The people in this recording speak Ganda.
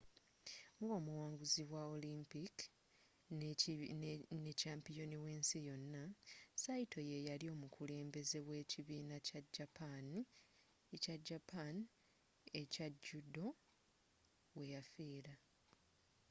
nga omuwanguzi wa olimpic nekyampiyoni w'ensi yona saito yeyali omukulembeze wekibiina kya japan ekya judo weyafiira